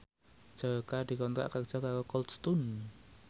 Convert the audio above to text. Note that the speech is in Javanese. Jaka dikontrak kerja karo Cold Stone